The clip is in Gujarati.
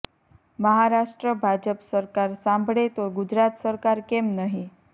મહારાષ્ટ્ર ભાજપ સરકાર સાંભળે તો ગુજરાત સરકાર કેમ નહીં